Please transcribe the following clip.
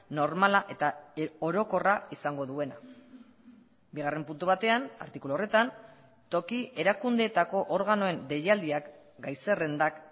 normala eta orokorra izango duena bigarren puntu batean artikulu horretan toki erakundeetako organoen deialdiak gai zerrendak